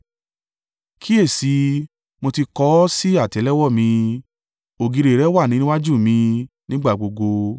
Kíyèsi i, mo ti kọ ọ́ sí àtẹ́lẹwọ́ mi ògiri rẹ wà níwájú mi nígbà gbogbo.